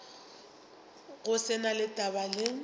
go se na taba le